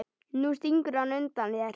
Nú stingur hann undan þér!